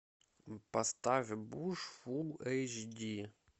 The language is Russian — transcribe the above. поставь буш фулл эйч ди